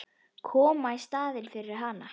Koma í staðinn fyrir hann.